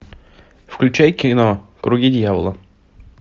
включай кино круги дьявола